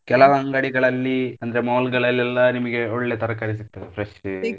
ಕೆಲವು ಅಂಗಡಿಗಳಲ್ಲಿ ಅಂದ್ರೆ mall ಗಳಲ್ಲೆಲ್ಲ ನಿಮ್ಗೆ ಒಳ್ಳೆ ತರಕಾರೀ ಸಿಗ್ತದೆ fresh .